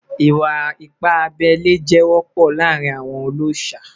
Iwa-ipa abẹle jẹ wọpọ laarin awọn ọlọṣà